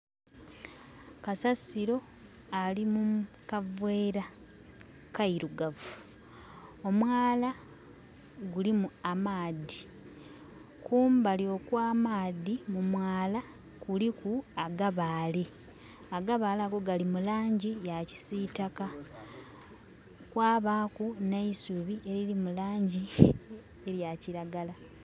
Kasasiro ali mu kavera kairugavu, omwaala gulimu amaadhi kumbali okwa maadhi mu mwaala kuliku u agabale, Agabale ago gali mu langi ya kisitaka kwabaku neisubi eriri mu langi eya kiragala.